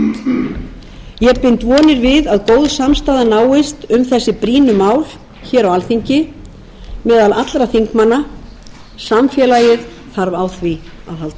góð samstaða náist um þessi brýnu mál hér á alþingi meðal allra þingmanna samfélagið þarf á því að halda